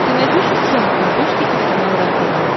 ты найдешь у себя на смотрешке телеканал рентв